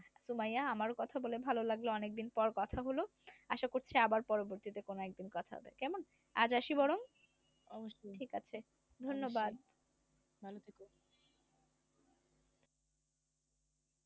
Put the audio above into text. সুমাইয়া আমারও কথা বলে ভালো লাগলো। অনেক দিন পর কথা হলো আশা করছি আবার পরবর্তীতে কোন একদিন কথা হবে কেমন আজ আসি বরং ঠিক আছে ধন্যবাদ।